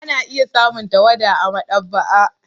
Ana iya samun tawada a maɗaba'a.